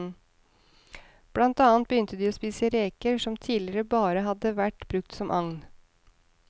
Blant annet begynte de å spise reker, som tidligere bare hadde vært brukt som agn.